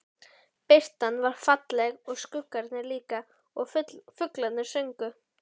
Birtan var falleg og skuggarnir líka og fuglarnir sungu.